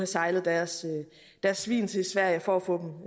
sejlet deres svin til sverige for at få dem